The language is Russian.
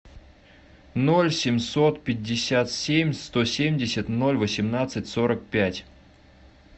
ноль семьсот пятьдесят семь сто семьдесят ноль восемнадцать сорок пять